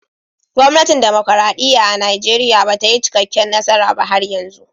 Gwamnatin dimokuradiyya a'Nijeriya bata yi cikaken nasara ba har yanzu.